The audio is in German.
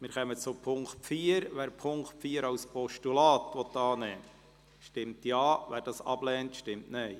Wer den Punkt 4 als Postulat annehmen will, stimmt Ja, wer dies ablehnt, stimmt Nein.